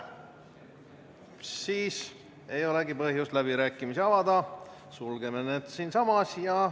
Siis ei olegi põhjust läbirääkimisi avada, sulgeme need siinsamas.